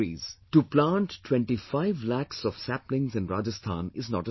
To plant 25 lakhs of sapling in Rajasthan is not a small matter